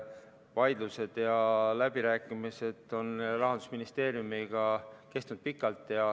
Vaidlused ja läbirääkimised Rahandusministeeriumiga on kestnud pikalt.